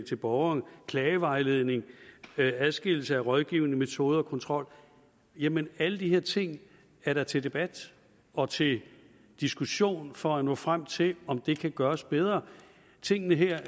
til borgeren klagevejledning og adskillelse af rådgivende metode og kontrol jamen alle de her ting er da til debat og til diskussion for at nå frem til om det kan gøres bedre tingene her er